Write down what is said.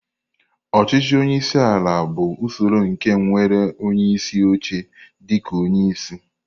Ọchịchị onye isi ala bụ usoro nke nwere onyeisi oche dịka onye isi.